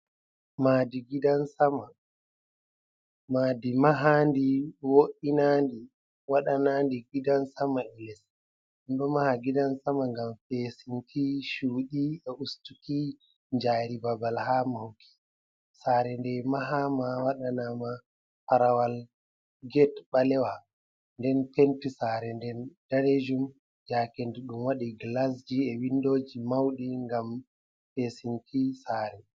Maadi gidan sama, madi mahandi wo’inandi wadanandi gidan sama gilas, e do maha gidan sama ngam pesinti chudi e ustuki jari babal ha mahuki sare ndai mahama wadana ma farawal gete balewa den penti sare nden dalejum jakendudum wadi glasji e windoji maudi ngam pesinti tsare